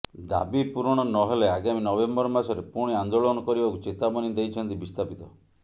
ଦାବିପୂରଣ ନ ହେଲେ ଆଗାମୀ ନଭେମ୍ୱର ମାସରେ ପୁଣି ଆନ୍ଦୋଳନ କରିବାକୁ ଚେତାବନୀ ଦେଇଛନ୍ତି ବିସ୍ଥାପିତ